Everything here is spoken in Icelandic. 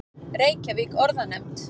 Reykjavík: Orðanefnd.